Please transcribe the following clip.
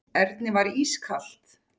Erni var ískalt.